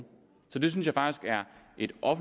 jytte og